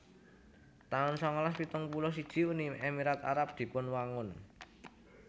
taun sangalas pitung puluh siji Uni Emirat Arab dipunwangun